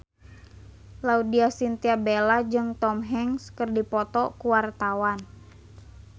Laudya Chintya Bella jeung Tom Hanks keur dipoto ku wartawan